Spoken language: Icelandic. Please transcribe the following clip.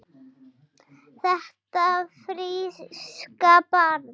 Þetta fríska barn?